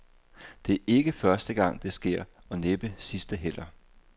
Det er ikke første gang, det sker, og næppe sidste heller.